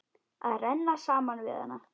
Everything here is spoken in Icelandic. Að renna saman við hana.